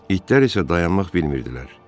İtlər isə dayanmaq bilmirdilər.